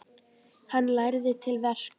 Hann lærði til verka.